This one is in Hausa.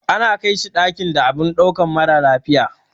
Ana kaishi dakin da abun dauka mara lafiya.